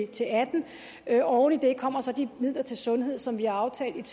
til atten oven i det kommer så de midler til sundhed som vi har aftalt